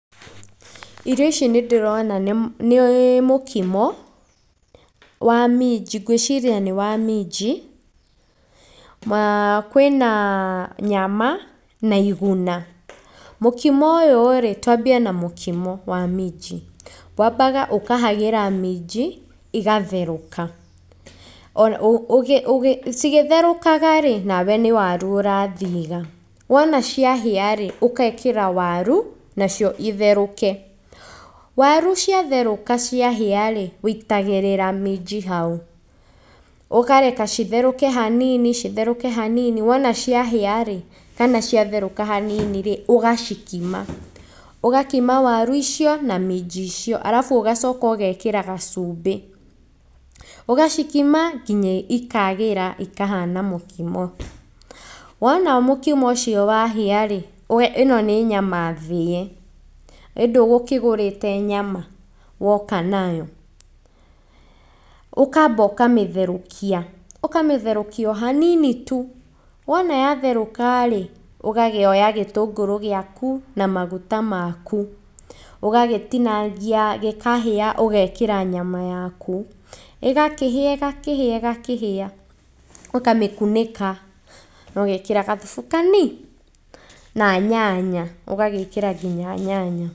irio ici nĩ ndĩrona nĩ nĩ mũkimo, wa minji, ngwĩciria nĩ wa minji, maa kwĩna nyama, na iguna, mũkimo ũyũrĩ, twambie na mũkimo wa minji, wambaga ũkahagĩra minji igatherũka, ona ũũ cigĩtherukagarĩ, nawe nĩ warũ ũrathiga, wona ciahĩarĩ, ũkekĩra warũ nacio itherũke, warũ cia therũka ciahiarĩ, wĩitagĩrĩra minji hau, ũkareke citherũke hanini, citherũke hanini, wona ciahiarĩ, kana cia therũka haninirĩ, ũgacikima, ũgakima warũ icio na minji icio, arabu ũgacoka ũgekĩra gacumbĩ, ũgacikima nginya ikagĩra ikahana mũkimo, wona mũkimo ũcio wahĩarĩ, ũga, ĩno nĩ nyama thĩe, ĩ ndũgũkĩgũrĩte nyama, woka nayo, ũkamba ũkamĩtherũkia, ũkametherũkia ohanini tu, wona ya therũkarĩ, ũgakĩoya gĩtũngũrũ gĩaku, na maguta maku, ũgagĩtinangia gĩkahĩa ũgekĩra nyama yaku, ĩgakĩhĩa, ĩgakĩhĩa, ĩgakĩhĩa, ũkamĩkunĩka na ũgekĩra gathubu kani, na nyanya, ũgagĩkĩra ngina nyanya.